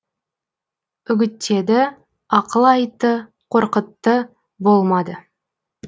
үгіттеді ақыл айтты қорқытты болмады